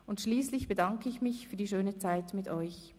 Und schliesslich bedanke ich mich für die schöne Zeit mit euch.